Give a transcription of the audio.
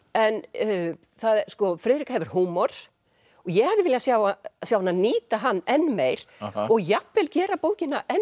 en Friðrika hefur húmor ég hefði viljað sjá sjá hana nýta hann enn meir og jafnvel gera bókina enn